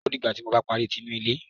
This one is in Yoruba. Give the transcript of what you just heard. Ó dìgbà tí ó bá parí tí inú ilé